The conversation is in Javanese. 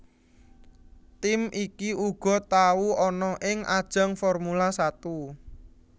Tim iki uga tau ana ing ajang Formula Satu